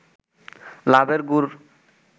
লাভের গুড়